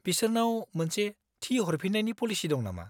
बिसोरनाव मोनसे थि हरफिन्नायनि पलिसि दं नामा?